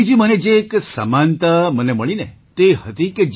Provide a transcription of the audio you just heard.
મોદીજી મને જે એક સમાનતા મને મળી ને તે હતી